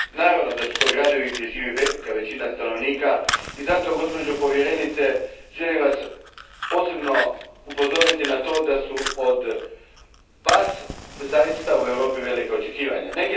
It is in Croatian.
Naravno da su to gradovi gdje živi velika većina stanovnika i zato Vas, gospođo povjerenice, želim posebno upozoriti na to da su od Vas zaista velika očekivanja u Europi.